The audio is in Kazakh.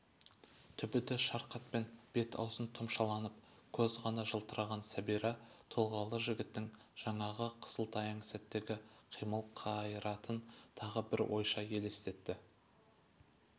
түбіті шарқатпен бет-аузын тұмшаланып көз ғана жылтыраған сәбира тұлғалы жігіттң жаңағы қысылтаяң сәттегі қимыл-қайратын тағы бір ойша елестетіп